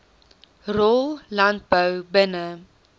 rol landbou binne